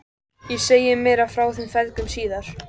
Ég segi meira frá þeim feðgum síðar.